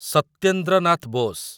Satyendra Nath Bosch